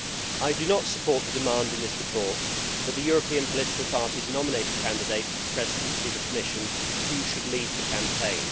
I do not support the demand in this report that the European political parties nominate a candidate for the Presidency of the Commission who should lead the campaign.